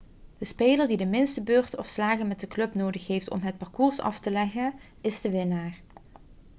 de speler die de minste beurten of slagen met de club nodig heeft om het parcours af te leggen is de winnaar